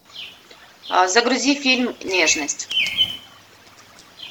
а загрузи фильм нежность